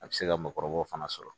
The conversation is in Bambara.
A bɛ se ka mɔgɔkɔrɔbaw fana sɔrɔ